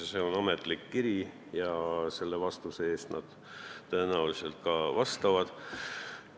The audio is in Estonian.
See on ametlik kiri ja selle väite eest nad tõenäoliselt ka vastutavad.